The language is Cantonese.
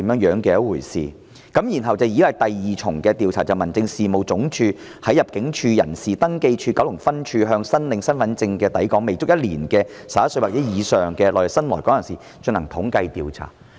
然後，第二次調查是民政事務總署在入境處人事登記處九龍分處，向申領身份證的抵港未足一年的11歲或以上內地新來港人士所進行的統計調查。